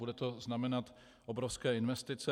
Bude to znamenat obrovské investice.